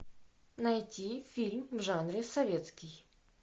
найти фильм в жанре советский